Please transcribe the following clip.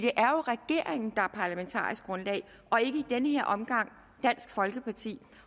er jo regeringen der er parlamentarisk grundlag og ikke i den her omgang dansk folkeparti